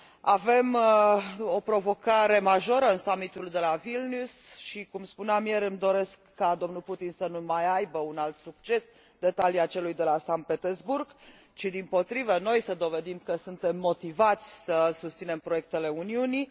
Avem o provocare majoră în summitul de la Vilnius și, cum spuneam ieri, îmi doresc ca domnul Putin să nu mai aibă un alt succes de talia celui de la Sankt Petersburg ci, dimpotrivă, noi să dovedim că suntem motivați să susținem proiectele Uniunii.